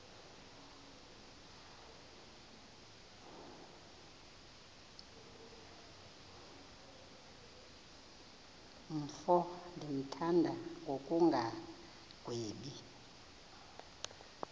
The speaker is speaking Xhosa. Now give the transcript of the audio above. mfo ndimthanda ngokungagwebi